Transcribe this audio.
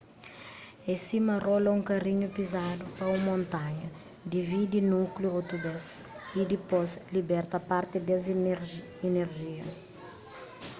é sima rola un karinhu pizadu pa un montanha dividi núkliu otu bês y dipôs liberta parti des inerjia